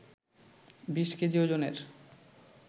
২০ KG ওজনের